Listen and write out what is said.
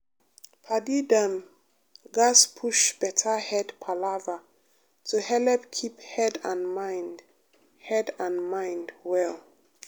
padi dem gatz push better head palava to helep keep head and mind head and mind well.